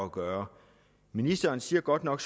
at gøre ministeren siger godt nok